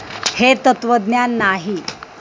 हे तत्त्वज्ञान नाही.